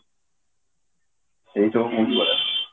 ସେଇ ଯୋଉ movie ଗୁରା